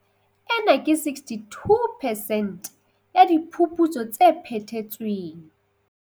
Ena ke 62 percent ya diphuputso tse phethetsweng.